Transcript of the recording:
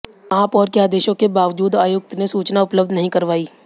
महापौर के आदेशों के बावजूद आयुक्त ने सूचना उपलब्ध नहीं करवाई